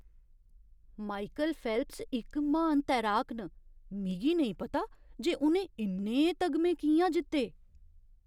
Michael Phelps इक म्हान तैराक न। मिगी नेईं पता जे उ'नें इन्ने तगमे कि'यां जित्ते!